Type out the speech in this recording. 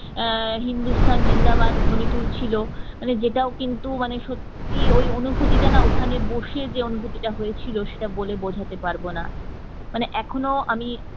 আহ হিন্দুস্তান জিন্দাবাদ ধ্বনি তুলছিল যেটা ও কিন্তু মানে সত্যিই ওই অনুভূতিটা ওখানে বসে যে অনুভূতিটা হয়েছিল সেটা বলে বোঝাতে পারবো না মানে এখনো আমি